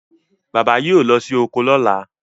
bàbá yíò ló sì oko lola.